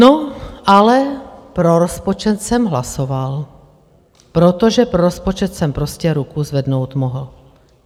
No ale pro rozpočet jsem hlasoval, protože pro rozpočet jsem prostě ruku zvednou mohl.